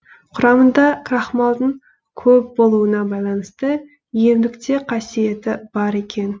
құрамында крахмалдың көп болуына байланысты емдік те қасиеті бар екен